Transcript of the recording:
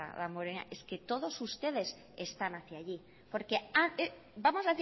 es que todos ustedes están hacia allí porque vamos